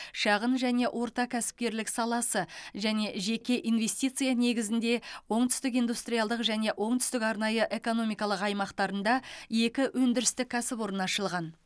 шағын және орта кәсіпкерлік саласы және жеке инвестиция негізінде оңтүстік индустриалдық және оңтүстік арнайы экономикалық аймақтарында екі өндірістік кәсіпорын ашылған